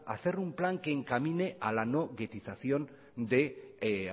hacer un plan que encamine a la no ghettización de